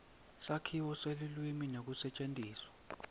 sakhiwo selulwimi nekusetjentiswa